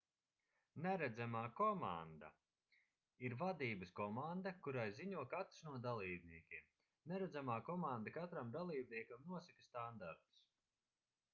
neredzamā komanda ir vadības komanda kurai ziņo katrs no dalībniekiem neredzamā komanda katram dalībniekam nosaka standartus